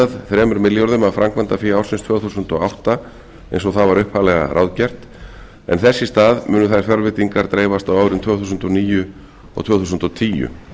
þremur milljörðum af framkvæmdafé ársins tvö þúsund og átta eins og það var upphaflega ráðgert en þess í stað munu þær fjárveitingar dreifast á árin tvö þúsund og níu og tvö þúsund og tíu